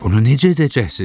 Bunu necə edəcəksiniz?